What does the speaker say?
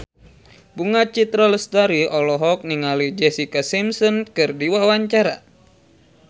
Bunga Citra Lestari olohok ningali Jessica Simpson keur diwawancara